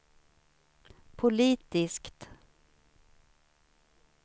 politiskt